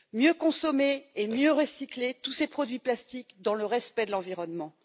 Mieux consommer et mieux recycler tous ces produits plastiques dans le respect de l'environnement.